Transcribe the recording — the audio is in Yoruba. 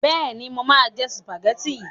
Bẹ́ẹ̀ni, mo máa jẹ sùpàgẹ́tì.